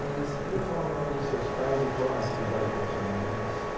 E você podia falar o nome dos seus pais e qual a atividade profissional deles?